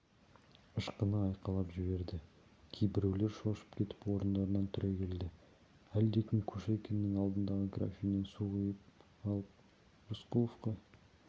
ышқына айқайлап жіберді кейбіреулер шошып кетіп орындарынан түрегелді әлдекім кушекиннің алдындағы графиннен су құйып алып рысқұловқа